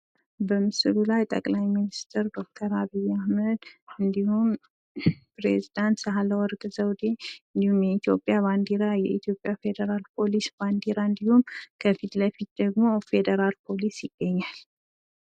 በምስሉ ላይ ጠቅላይ ሚኒስቴር ዶክተር አብይ አህመድ እንዲሁም ፕሬዚዳንት ሳህለወርቅ ዘውዴ እንዲሁም የኢትዮጵያ ባንዲራ የኢትዮጵያ ፌዴራል ፖሊስ ባንዲራ እንዲሁም ከፊት ለፊት ደግሞ ፌዴራል ፖሊሲ ይገኛል።